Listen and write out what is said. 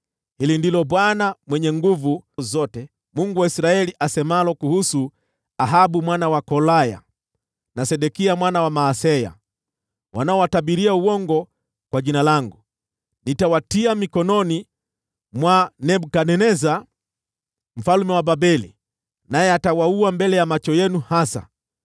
Hili ndilo Bwana Mwenye Nguvu Zote, Mungu wa Israeli, asemalo kuhusu Ahabu mwana wa Kolaya, na Sedekia mwana wa Maaseya, wanaowatabiria uongo kwa jina langu: “Nitawatia mikononi mwa Nebukadneza mfalme wa Babeli, naye atawaua mbele ya macho yenu hasa.